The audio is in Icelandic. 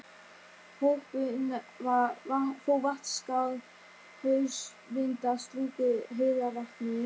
Hópurinn fór Vatnsskarð, haustvindar struku heiðarvatnið.